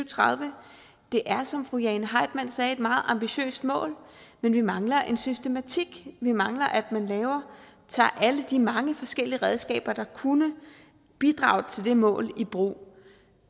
tredive det er som fru jane heitmann sagde et meget ambitiøst mål men vi mangler en systematik vi mangler at man tager alle de mange forskellige redskaber der kunne bidrage til det mål i brug